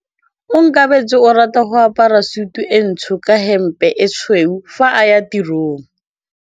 Onkabetse o rata go apara sutu e ntsho ka hempe e tshweu fa a ya tirong.